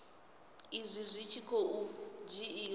izwi zwi tshi khou dzhiiwa